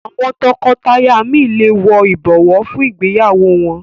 Àwọn tọkọtaya mí lẹ wò ibọwọ fún ìgbéyàwó wón.